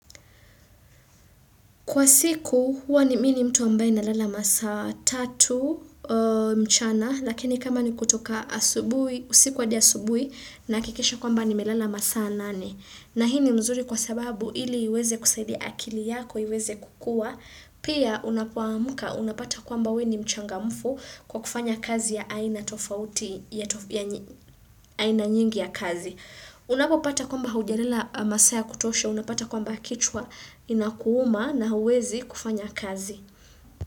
Kwa siku, huwa ni mi ni mtu ambaye nalala masa tatu mchana, lakini kama ni kutoka asubuhi, usiku hadi asubuhi, nahakikisha kwamba nimelala masaa nane. Na hii ni mzuri kwa sababu ili uweze kusaidia akili yako, iweze kukua, pia unapoamka, unapata kwamba we ni mchangamfu kwa kufanya kazi ya aina tofauti ya aina nyingi ya kazi. Unapopata kwamba hujalala masaa ya kutosha, unapata kwamba kichwa inakuuma na huwezi kufanya kazi.